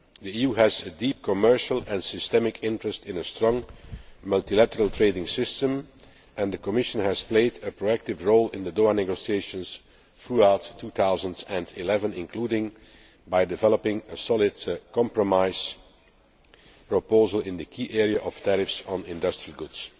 The EU has a deep commercial and systemic interest in a strong multilateral trading system, and the Commission has played a proactive role in the Doha negotiations throughout 2011, including by developing a solid compromise proposal in the key area of tariffs on industrial goods.